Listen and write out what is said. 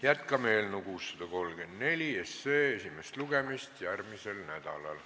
Jätkame eelnõu 634 esimest lugemist järgmisel nädalal.